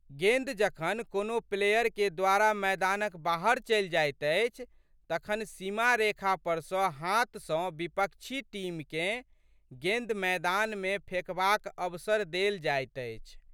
गेंद जखन कोनो प्लेयरके द्वारा मैदानक बाहर चलि जाइत अछि तखन सीमारेखा पर सँ हाथ सँ विपक्षी टीमकेँ गेंद मैदानमे फेकबाक अवसर देल जाइत अछि।